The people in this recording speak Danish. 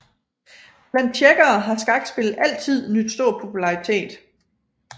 Blandt tjekkere har skakspillet altid nydt stor popularitet